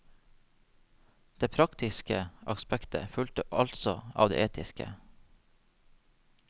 Det praktiske aspektet fulgte altså av det etiske.